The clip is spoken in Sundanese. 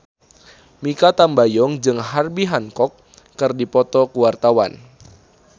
Mikha Tambayong jeung Herbie Hancock keur dipoto ku wartawan